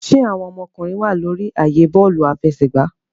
Ṣe awọn ọmọkunrin wa lórí ààyè bọọlu afẹsẹgba?